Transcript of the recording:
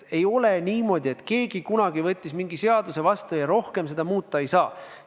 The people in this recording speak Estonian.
Ei ole niimoodi, et keegi kunagi võttis mingi seaduse vastu ja seda muuta ei saa.